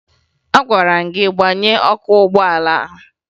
Agwara m gị gbaghee ọkụ ụgbọala!